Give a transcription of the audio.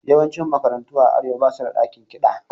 Yawancin makarantu a Arewa ba su da ɗakin kiɗa.